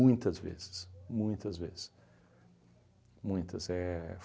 Muitas vezes, muitas vezes. Muitas éh